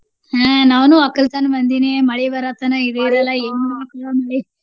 ಹ್ಮ ನಾವುನು ವಕ್ಕಲ್ತನ ಮಂದಿನೇ ಮಳಿ ಬರೋತನಾ ಇದೀರಲ್ಲಾ ಏನ ಇರಲ್ಲ .